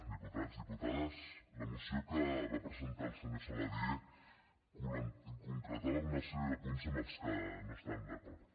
diputats diputades la moció que va presentar el senyor saladié concretava una sèrie de punts amb què no estàvem d’acord